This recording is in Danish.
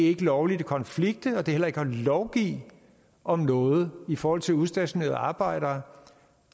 ikke lovligt at konflikte og heller ikke at lovgive om noget i forhold til udstationerede arbejdere